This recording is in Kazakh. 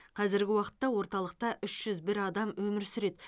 қазіргі уақытта орталықта үш жүз бір адам өмір сүреді